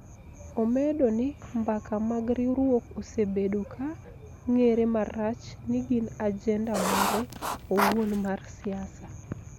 omedo ni mbaka mag riwruok osebedo ka ng�ere marach ni gin ajenda mare owuon mar siasa.